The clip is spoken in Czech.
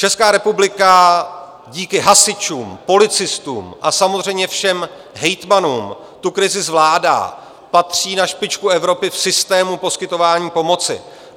Česká republika díky hasičům, policistům a samozřejmě všem hejtmanům tu krizi zvládá, patří na špičku Evropy v systému poskytování pomoci.